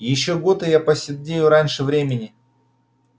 ещё год и я поседею раньше времени